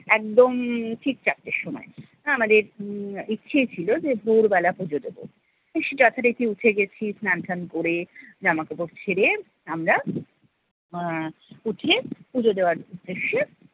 একদম ঠিক চারটের সময়। আমাদের ইচ্ছেই ছিল যে ভোর বেলা পুজো দেব। যথারীতি উঠে গেছি স্নান টান করে, জামা কাপড় ছেড়ে আমরা আহ উঠে পুজো দেওয়ার উদ্দেশ্য